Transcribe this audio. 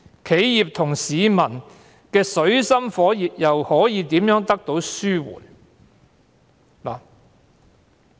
企業和市民水深火熱的情況又如何得以紓緩？